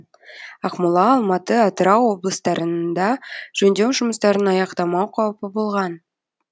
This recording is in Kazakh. ақмола алматы атырау облыстарында жөндеу жұмыстарын аяқтамау қаупі болған